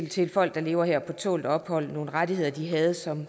til folk der lever her på tålt ophold og nogle rettigheder de havde som